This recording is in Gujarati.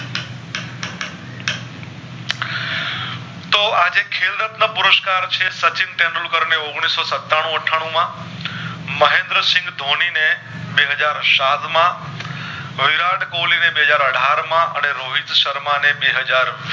તો આજે ખેલ રત્ન પુરષ્કાર છે સચિન તેંડુલકર ને ઔગણીશ ઓ સતાનું અઠ્ઠાણું માં મહેન્દ્ર સિંહ ધોની ને બે હાજર સાત માં વિરાટ કોહલી ને બે હાજર અઢાર માંઅને રોહિત શર્મા ને બે હાજર